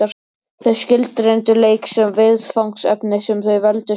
Þau skilgreindu leik sem viðfangsefni sem þau veldu sjálf.